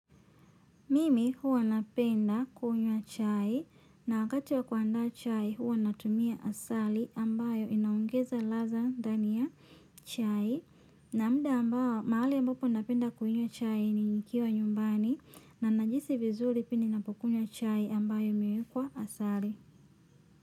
Mimi huwa napenda kunywa chai na wakati wa kuandaa chai huwa natumia asali ambayo inaongeza ladha ndani ya chai. Na muda ambao, mahali ambapo napenda kunywa chai ni nikiwa nyumbani. Na najihisi vizuri pindi ninapokunywa chai ambayo nimewekwa asali.